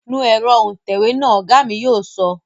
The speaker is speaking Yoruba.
Nu ẹ̀rọ òǹtẹ̀wé náà, Ọ̀gá mi yóò sọ